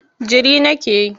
Jiri nake yi.